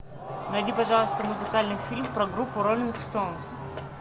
найди пожалуйста музыкальный фильм про группу роллинг стоунз